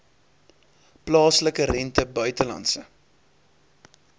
plaaslike rente buitelandse